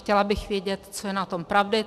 Chtěla bych vědět, co je na tom pravdy.